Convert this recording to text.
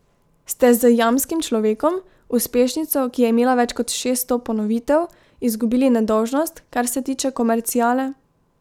Ste z Jamskim človekom, uspešnico, ki je imela več kot šeststo ponovitev, izgubili nedolžnost, kar se tiče komerciale?